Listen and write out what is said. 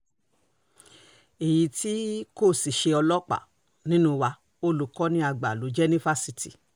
èyí tí kò sì ṣe ọlọ́pàá nínú wa olùkọ́ni àgbà ló jẹ́ ní fásitì